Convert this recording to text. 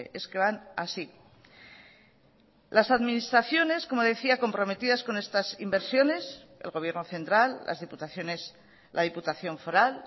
es que van así las administraciones como decía comprometidas con estas inversiones el gobierno central las diputaciones la diputación foral